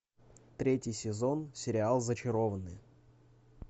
третий сезон сериал зачарованные